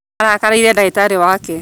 Arakarĩire ndagĩtarĩ wake